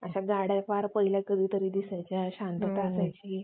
laptop चे वजन आणखी कमी होऊ battery life वाढते. सोबतच performance आणि सुरक्षितता देखील वाढते.